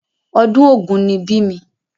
Ọdún ògún ni bí mi.